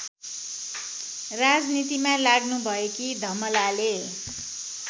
राजनीतिमा लाग्नुभएकी धमलाले